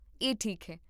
ਇਹ ਠੀਕ ਹੈ